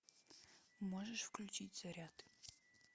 можешь включить заряд